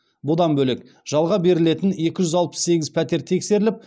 бұдан бөлек жалға берілетін екі жүз алпыс сегіз пәтер тексеріліп